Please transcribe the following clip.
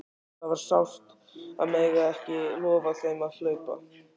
Það var sárt að mega ekki lofa þeim að hlaupa!